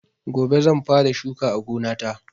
Gobe zan fara shuka a gonata.